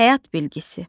Həyat bilgisi.